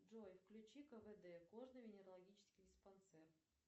джой включи квд кожно венерологический диспансер